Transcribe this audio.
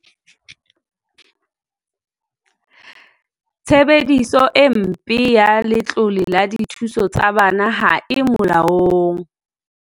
Tshebediso e mpe ya letlole la dithuso tsa bana ha e molaong